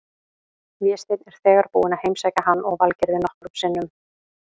Vésteinn er þegar búinn að heimsækja hann og Valgerði nokkrum sinnum.